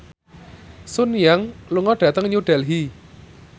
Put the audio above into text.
Sun Yang lunga dhateng New Delhi